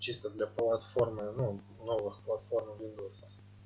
чисто для платформы ну новых платформ виндоуса